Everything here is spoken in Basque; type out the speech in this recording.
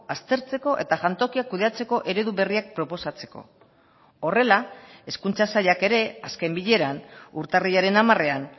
aztertzeko eta jantokiak kudeatzeko eredu berriak proposatzeko horrela hezkuntza sailak ere azken bileran urtarrilaren hamarean